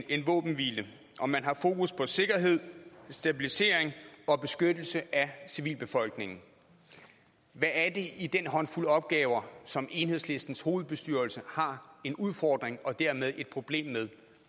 af en våbenhvile og man har fokus på sikkerhed stabilisering og beskyttelse af civilbefolkningen hvad er det i den håndfuld opgaver som enhedslistens hovedbestyrelse har en udfordring og dermed et problem med